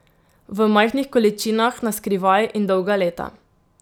V majhnih količinah, na skrivaj in dolga leta.